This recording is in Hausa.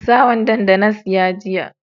Sa wandon da na siya jiya.